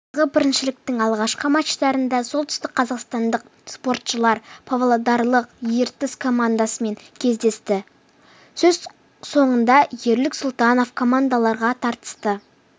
биылғы біріншіліктің алғашқы матчтарында солтүстікқазақстандық спортшылар павлодарлық ертіс командасымен кездесті сөз соңында ерік сұлтанов командаларға тартысты